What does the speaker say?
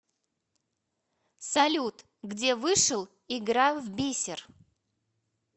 салют где вышел игра в бисер